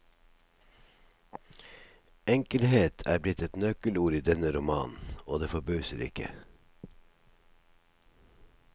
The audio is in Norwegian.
Enkelhet er blitt et nøkkelord i denne romanen, og det forbauser ikke.